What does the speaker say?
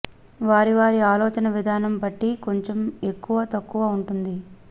వారి వారి ఆలోచన విధానం బట్టి కొంచెం ఎక్కువ తక్కువ ఉంటుంది